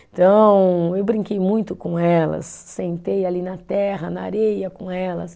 Então, eu brinquei muito com elas, sentei ali na terra, na areia com elas.